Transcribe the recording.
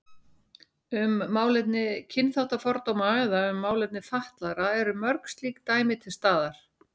Um málefni kynþáttafordóma eða um málefni fatlaðra eru mörg slík dæmi til staðar.